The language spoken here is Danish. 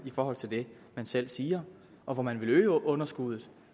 forhold til det man selv siger og hvor man vil øge underskuddet